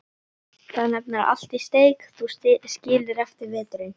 Þar er nefnilega allt í steik, þú skilur, eftir veturinn.